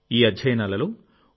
ఈ అధ్యయనాలలోఓ